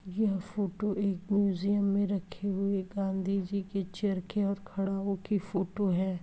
यह फोटो एक म्युसियम मे रखे हुए गांधीजी के चरखे और खड़ाऊ की फोटो है।